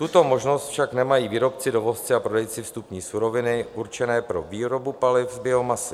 Tuto možnost však nemají výrobci, dovozci a prodejci vstupní suroviny určené pro výrobu paliv z biomasy.